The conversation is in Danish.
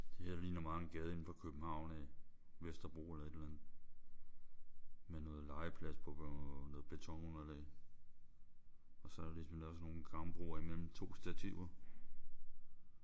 Det her det ligner meget en gade indefra København af. Vesterbro eller et eller andet. Med noget legeplads på noget betonunderlag. Og så er der ligesom lavet sådan nogle gangbroer mellem to stativer